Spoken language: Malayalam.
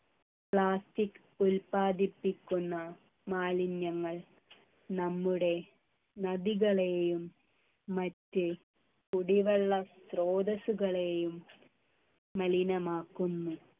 plastic ഉത്പാദിപ്പിക്കുന്ന മാലിന്യങ്ങൾ നമ്മുടെ നദികളെയും മറ്റ് കുടിവെള്ള സ്രോതസ്സുകളെയും മലിനമാക്കുന്നു